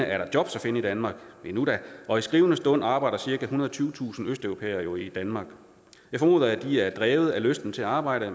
er jobs at finde i danmark endnu da og i skrivende stund arbejder cirka ethundrede og tyvetusind østeuropæere jo i danmark jeg formoder at de er drevet af lysten til at arbejde